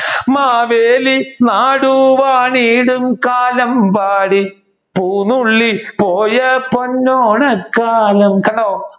മാവേലി നാട് വാണീടും കാലം ബാരി പൂനുള്ളിൽ പോയ പൊന്നോണകാലം കണ്ടോ